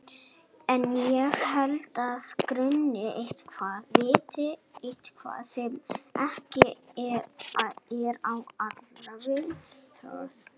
En ég held að hana gruni eitthvað, viti eitthvað sem ekki er á allra vitorði.